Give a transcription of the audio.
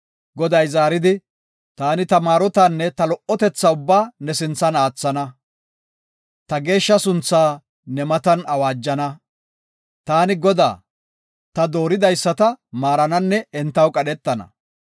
Goday zaaridi, “Taani ta maarotanne ta lo77otetha ubbaa ne sinthara aathana. Ta geeshsha sunthaa ne matan awaajana. Taani Godaa; ta dooridaysata maarananne entaw qadhetana.